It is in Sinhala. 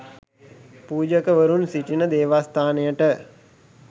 පූජකවරුන් සිටින දේවස්ථානයට